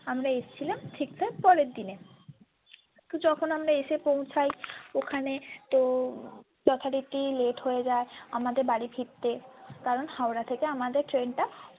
আমরা এসেছিলাম ঠিক তার পরের দিনে যখন আমরা এসে পৌঁছায় ওখানে তো যথারীতি late হয়ে যাই আমাদের বাড়ি ফিরতে কারণ হাওড়া থেকে আমাদের train টা।